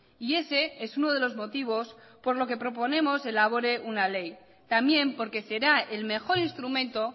y ese es uno de los motivos por lo que proponemos elabore una ley también porque será el mejor instrumento